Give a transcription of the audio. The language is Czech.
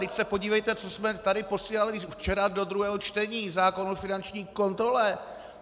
Vždyť se podívejte, co jsme tady posílali včera do druhého čtení - zákon o finanční kontrole.